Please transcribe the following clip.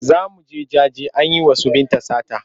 Za mu je jaje an yi wa su Binta sata.